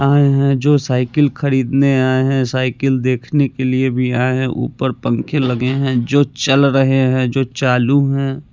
आये हैं जो साइकिल खरीदने आये हैं साइकिल देखने के लिए भी आये हैं ऊपर पंखे लगे है जो चल रहे हैं जो चालू हैं।